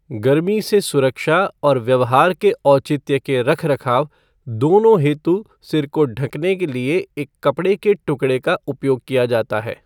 गर्मी से सुरक्षा और व्यवहार के औचित्य के रखरखाव दोनों हेतु सिर को ढँकने के लिए एक कपड़े के टुकड़े का उपयोग किया जाता है।